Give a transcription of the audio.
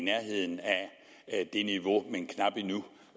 i nærheden af det niveau